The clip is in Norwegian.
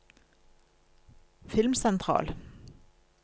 filmsentral